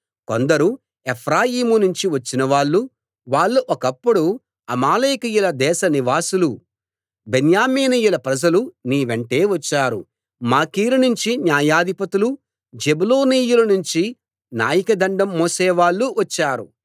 కొందరు ఎఫ్రాయీము నుంచి వచ్చినవాళ్ళు వాళ్ళు ఒకప్పుడు అమాలేకీయుల దేశ నివాసులు బెన్యామీనీయుల ప్రజలు నీ వెంటే వచ్చారు మాకీరు నుంచి న్యాయాధిపతులు జెబూలూనీయుల నుంచి నాయకదండం మోసేవాళ్ళూ వచ్చారు